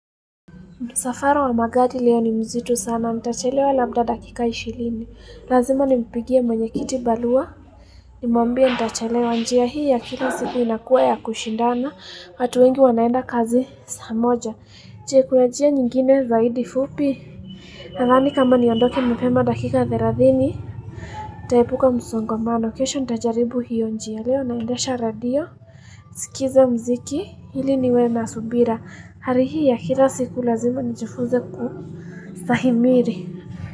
Msafara wa magari leo ni mzito sana. Ntachelewa labda dakika 20. Lazima nimpigie mwenye kiti barua. Nimwambia ntachelewa njia hii ya kila siku inakuwa ya kushindana. Watu wengi wanaenda kazi saa moja. Je kuna njia nyingine zaidi fupi. Nadhani kama niondoke mapema dakika 30. Ntaepuka msongamano kesho ntajaribu hiyo njia leo. Naendesha radio. Skiza mziki. Ili niwe na subira. Hali hii ya kila siku lazima nijifunze kustahimili.